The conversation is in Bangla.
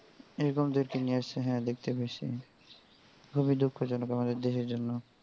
এরকম হ্যা দেখতে পাইস খুবই দুঃখজনক আমাদের দেশের জন্য.